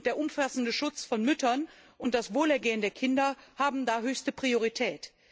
Der umfassende Schutz von Müttern und das Wohlergehen der Kinder haben da höchste Priorität.